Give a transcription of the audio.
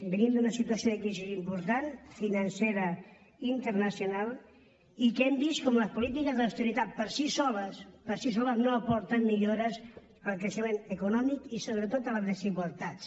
venim d’una situació de crisi important financera i internacional i hem vist com les polítiques d’austeritat per si soles per si soles no aporten millores al creixement econòmic i sobretot a les desigualtats